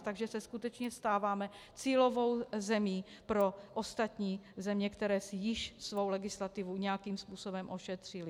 Takže se skutečně stáváme cílovou zemí pro ostatní země, které si již svou legislativu nějakým způsobem ošetřily.